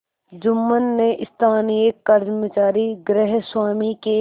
जुम्मन ने स्थानीय कर्मचारीगृहस्वामीके